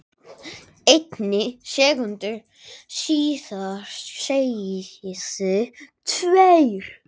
einni sekúndu síðar segðu tveir